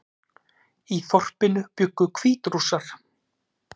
Í þorpinu bjuggu Hvítrússar